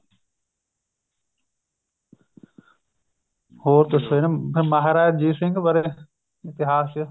ਹੋਰ ਦੱਸੋ ਇਹਨਾ ਮਹਾਰਾਜਾ ਰਣਜੀਤ ਸਿੰਘ ਬਾਰੇ ਇਤਿਹਾਸ ਚ